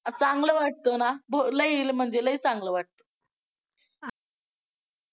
चांगलं वाटतं ना लई म्हणजे लई चांगलं वाटतं.